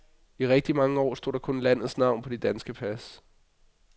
I rigtig mange år stod der kun landets navn på de danske pas.